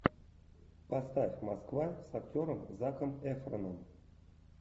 поставь москва с актером заком эфроном